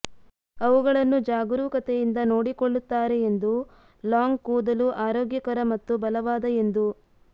ಅವುಗಳನ್ನು ಜಾಗರೂಕತೆಯಿಂದ ನೋಡಿಕೊಳ್ಳುತ್ತಾರೆ ಎಂದು ಲಾಂಗ್ ಕೂದಲು ಆರೋಗ್ಯಕರ ಮತ್ತು ಬಲವಾದ ಎಂದು